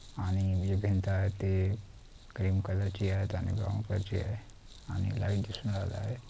आणि हे भिंत आहे ते ग्रीन कलर ची आहेत आणि ब्राऊन कलर ची आहे आणि लाइट दिसून राहिलेले आहे.